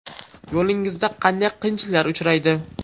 Yo‘lingizda qanday qiyinchiliklar uchraydi?